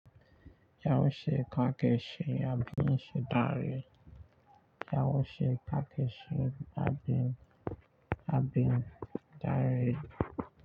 Yaushe kake ci abincin dare. Yaushi kake shi abin, abin dare.